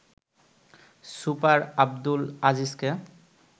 super Abdul আজিজকে